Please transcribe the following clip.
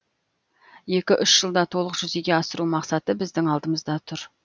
екі үш жылда толық жүзеге асыру мақсаты біздің алдымызда тұр